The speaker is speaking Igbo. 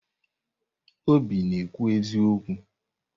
Obi na-ekwu eziokwu.